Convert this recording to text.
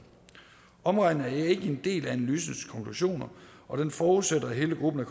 omregningen er ikke en del af analysens konklusioner og den forudsætter at hele gruppen af